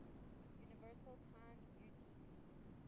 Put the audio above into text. universal time utc